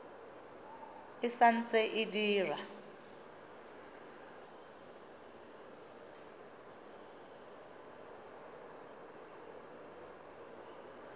e sa ntse e dira